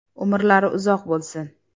Umrlari uzoq bo‘lsin).